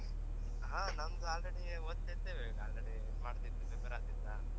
ಹಾ ನಂದು already ಓದ್ತಾ ಇದ್ದೇವೆ ಈಗ already ಇದ್ ಮಾಡ್ತಾ ಇತ್ತ್ prepare ಆಗ್ತಾ ಇತ್ತಾ.